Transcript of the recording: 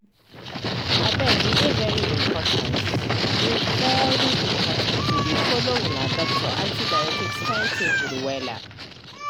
abege dey very important dey very important to dey follow una doctor antibiotics timetable wella.